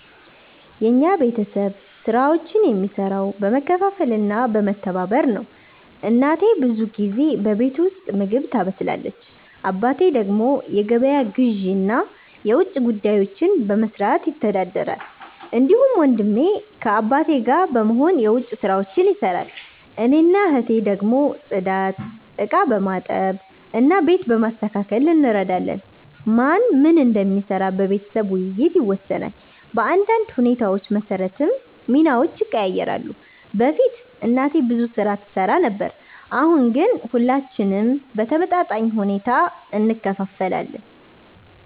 የኛ ቤተሰብ ስራዎችን የሚሰራው በመካፈል እና በመተባበር ነው። እናቴ ብዙ ጊዜ በቤት ውስጥ ምግብ ታበስላለች። አባቴ ደግሞ የገበያ ግዢ እና የውጭ ጉዳዮችን በመስራት ይተዳደራል። እንዲሁም ወንድሜ ከአባቴ ጋር በመሆን የዉጭ ስራዎች ይሰራል። እኔና እህቴ ደግሞ ጽዳት፣ ዕቃ በማጠብ እና ቤት በማስተካከል እንረዳለን። ማን ምን እንደሚሰራ በቤተሰብ ውይይት ይወሰናል፣ በአንዳንድ ሁኔታዎች መሰረትም ሚናዎች ይቀያየራሉ። በፊት እናቴ ብዙ ስራ ትሰራ ነበር፣ አሁን ግን ሁላችንም በተመጣጣኝ ሁኔታ እንካፈላለን።